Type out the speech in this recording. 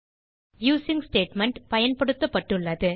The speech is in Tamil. யூசிங் ஸ்டேட்மெண்ட் பயன்படுத்தப்பட்டுள்ளது